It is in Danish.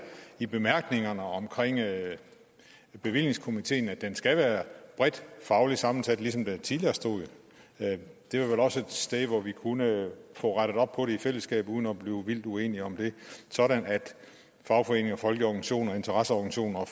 i bemærkningerne om bevillingskomiteen at den skal være bredt fagligt sammensat ligesom der tidligere stod det er vel også et sted hvor vi kunne få rettet op på det i fællesskab uden at blive vildt uenige om det sådan at fagforeninger og folkelige organisationer og interesseorganisationer og